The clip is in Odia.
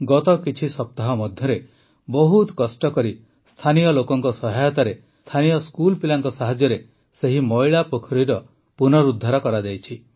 ଗତ କିଛି ସପ୍ତାହ ମଧ୍ୟରେ ବହୁତ କଷ୍ଟକରି ସ୍ଥାନୀୟ ଲୋକଙ୍କ ସହାୟତାରେ ସ୍ଥାନୀୟ ସ୍କୁଲପିଲାଙ୍କ ସାହାଯ୍ୟରେ ସେହି ମଇଳା ପୋଖରୀର ପୁନରୁଦ୍ଧାର ହୋଇଯାଇଛି